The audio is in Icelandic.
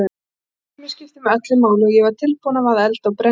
Stelpan mín skipti mig öllu máli og ég var tilbúin að vaða eld og brenni